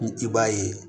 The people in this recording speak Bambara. I b'a ye